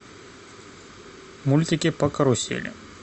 мультики по карусели